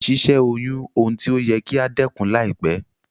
Si sẹ́ oyún oun ti o yẹ kí a dẹ́kun láìpẹ́